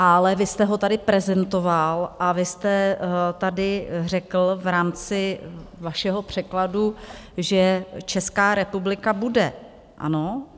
Ale vy jste ho tady prezentoval a vy jste tady řekl v rámci vašeho překladu, že Česká republika bude, ano?